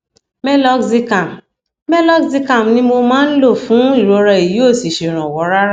meloxicam meloxicam ni mo máa ń lò fún ìrora èyí ò sì ṣèrànwọ rárá